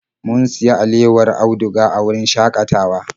Mun sayi alewar auduga a wurin shakatawa.